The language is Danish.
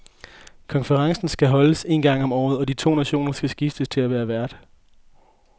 Konferencen skal holdes en gang om året, og de to nationer skal skiftes til at være vært.